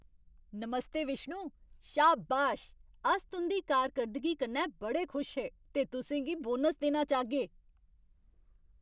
नमस्ते विष्णु, शाबाश, अस तुं'दी कारकर्दगी कन्नै बड़े खुश हे ते तुसें गी बोनस देना चाह्गे।